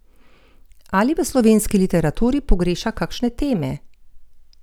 Ali v slovenski literaturi pogreša kakšne teme?